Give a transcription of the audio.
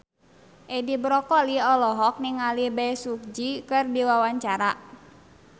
Edi Brokoli olohok ningali Bae Su Ji keur diwawancara